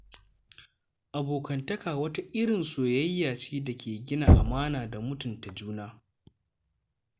Abokantaka wata irin soyayya ce da ke gina amana da mutunta juna.